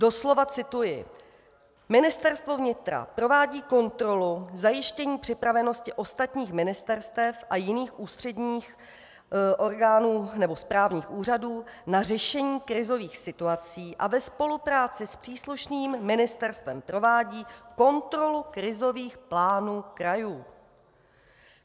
Doslova cituji: "Ministerstvo vnitra provádí kontrolu zajištění připravenosti ostatních ministerstev a jiných ústředních orgánů nebo správních úřadů na řešení krizových situací a ve spolupráci s příslušným ministerstvem provádí kontrolu krizových plánů krajů."